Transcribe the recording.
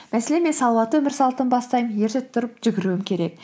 мәселен мен салауатты өмір салтын бастаймын ерте тұрып жүгіруім керек